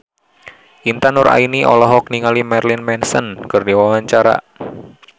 Intan Nuraini olohok ningali Marilyn Manson keur diwawancara